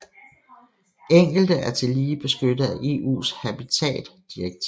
Enkelte er tillige beskyttet af EUs habitat direktiver